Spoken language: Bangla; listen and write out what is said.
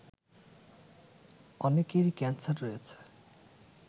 অনেকেরই ক্যান্সার রয়েছে